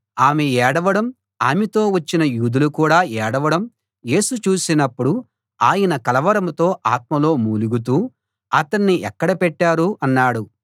ఆమె ఏడవడం ఆమెతో వచ్చిన యూదులు కూడా ఏడవడం యేసు చూసినప్పుడు ఆయన కలవరంతో ఆత్మలో మూలుగుతూ అతణ్ణి ఎక్కడ పెట్టారు అన్నాడు